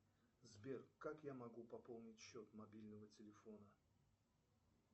сбер как я могу пополнить счет мобильного телефона